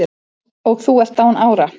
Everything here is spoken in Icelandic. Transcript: og þú ert án ára